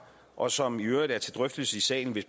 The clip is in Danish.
og som i øvrigt er til drøftelse i salen